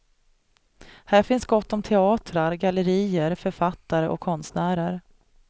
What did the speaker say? Här finns gott om teatrar, gallerier, författare och konstnärer.